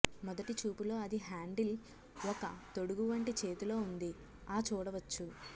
మొదటి చూపులో అది హ్యాండిల్ ఒక తొడుగు వంటి చేతిలో ఉంది ఆ చూడవచ్చు